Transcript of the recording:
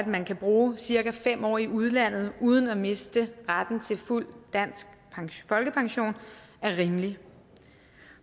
man kan bruge cirka fem år i udlandet uden at miste retten til fuld dansk folkepension er rimelig